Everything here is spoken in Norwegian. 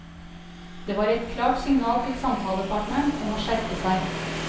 Det var et klart signal til samtalepartneren om å skjerpe seg.